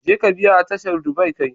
Jeka biya a tashar duba kai.